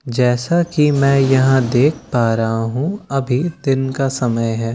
जैसा की मैं यहाँ देख पा रहा हूँ अभी दिन का समय है --